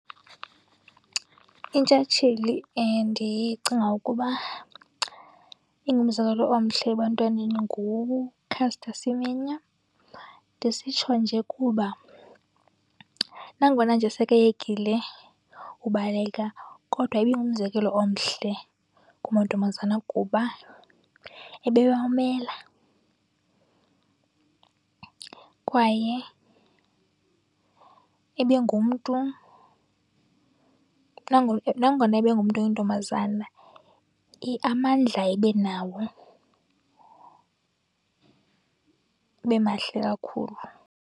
Intshatsheli endicinga ukuba ingumzekelo omhle ebantwaneni nguCaster Semenya. Ndisitsho nje kuba nangona nje sekeyekile ubaleka kodwa ibingumzekelo omhle kumantombazana kuba ebewamela. Kwaye ebengumntu, nangona ebengumntu oyintombazana amandla ebenawo ebemahle kakhulu.